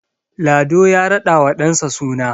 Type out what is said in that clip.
Lado ya radawa ɗansa suna